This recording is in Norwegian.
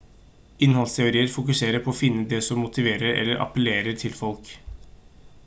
innholdsteorier fokuserer på å finne det som motiverer eller appellerer til folk